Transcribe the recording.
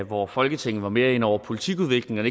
hvor folketinget var mere inde over politikudviklingen og